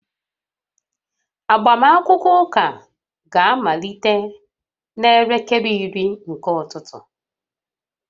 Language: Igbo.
Agbamakwụkwọ ụka ga-amalite n'elekere iri nke ụtụtụ